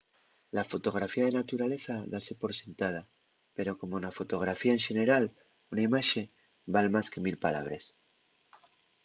la fotografía de naturaleza dase por sentada pero como na fotografía en xeneral una imaxe val más que mil palabres